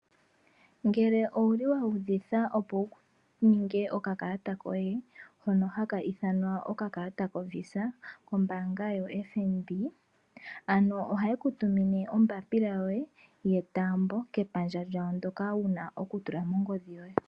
Ngele owuli wuudhitha opo wuninge okakalata koye hono haka ithanwa okakalata koVisa kombaanga yoFNB ano ohaye kutumine ombapila yoye yetaambo kepandja lyawo ndoka wuna okutula mongodhi yoye.